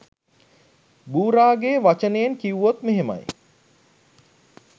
බුරාගෙ වචනයෙන් කිව්වොත් මෙහෙමයි